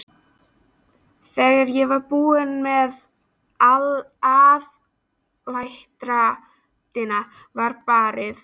Þegar ég var búin með aðaldrættina var barið.